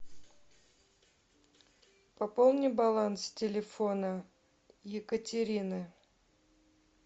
пополни баланс телефона екатерины